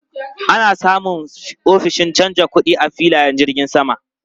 Ana samun ofishin canja kuɗi a filayen jirgin sama.